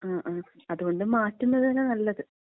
ആ ആ, അതുകൊണ്ട് മാറ്റുന്നത് തന്ന നല്ലത്.